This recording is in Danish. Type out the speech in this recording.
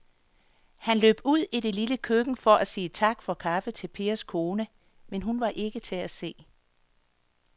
Han løb ud i det lille køkken for at sige tak for kaffe til Pers kone, men hun var ikke til at se.